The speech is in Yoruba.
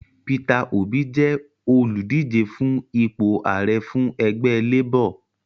Peter Obi jẹ́ olùdíje fún ipò Ààrẹ fún ẹgbẹ Labor